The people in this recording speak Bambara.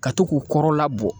Ka to k'u kɔrɔla bɔ